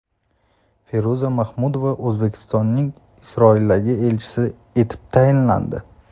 Feruza Mahmudova O‘zbekistonning Isroildagi elchisi etib tayinlandi.